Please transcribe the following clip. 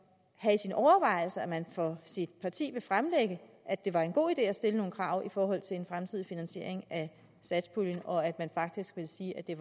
han for sit parti vil fremlægge at det var en god idé at stille nogle krav i forhold til en fremtidig finansiering af satspuljen og at man faktisk vil sige at det